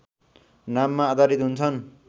नाममा आधारित हुन्छन्